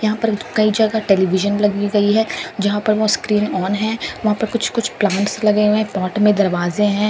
यहां पर कई जगह टेलीविजन लगी गई है जहां पर वो स्क्रीन ऑन है वहां पर कुछ-कुछ प्लांट्स लगे हुए हैं पॉट में दरवाजे हैं।